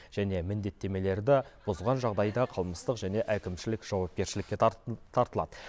және міндеттемелерді бұзған жағдайда қылмыстық және әкімшілік жауапкершілікке тартылады